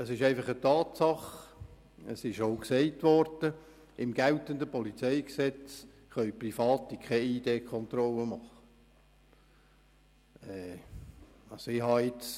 Es ist einfach eine Tatsache, dass Private im geltenden PolG keine Identitätskontrollen machen können.